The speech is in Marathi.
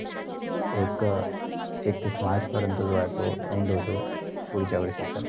एक एकतीस मार्चपर्यंत end होतो. पुढच्या वर्षासाठी.